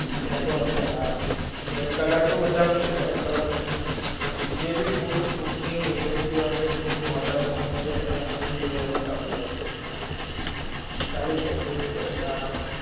ત્યાં તો હશે હા. ચોવીસ કલાક તો બધા માં છે, ચોવીસ કલાક જે ભી food, food ની agency હોય કે food ની હોટલે હોય એમાં ચોવીસ કલાક food delivery ચાલુ જ હોય છે. ચાલુ જ હોય food delivery હાહં.